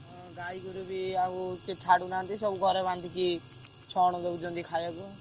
ହଁ ଗାଈଗୋରୁ ବି ଆଉ କିଏ ଛାଡୁନାହାନ୍ତି ସବୁ ଘରେ ବାନ୍ଧିକି ଛଣ ଦଉଛନ୍ତି ଖାୟାକୁ।